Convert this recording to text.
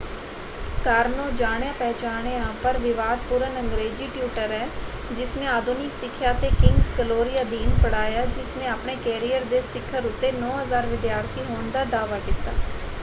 ਕਾਰਨੋ ਜਾਣਿਆ-ਪਹਿਚਾਣਿਆ ਪਰ ਵਿਵਾਦਪੂਰਨ ਅੰਗਰੇਜੀ ਟਿਊਟਰ ਹੈ ਜਿਸਨੇ ਆਧੁਨਿਕ ਸਿੱਖਿਆ ਅਤੇ ਕਿੰਗਸ ਗਲੋਰੀ ਅਧੀਨ ਪੜ੍ਹਾਇਆ ਜਿਸਨੇ ਆਪਣੇ ਕੈਰੀਅਰ ਦੇ ਸਿਖਰ ਉੱਤੇ 9,000 ਵਿਦਿਆਰਥੀ ਹੋਣ ਦਾ ਦਾਅਵਾ ਕੀਤਾ।